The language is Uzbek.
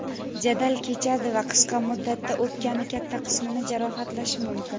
jadal kechadi va qisqa muddatda o‘pkani katta qismini jarohatlashi mumkin.